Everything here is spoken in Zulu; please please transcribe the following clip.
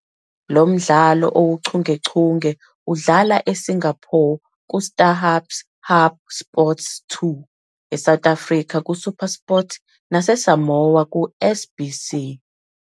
Lo mdlalo owuchungechunge uhlala eSingapore kuStarhub's HubSports 2,South Africa kuSuperSport, naseSamoa ku- SBC.